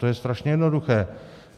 To je strašně jednoduché.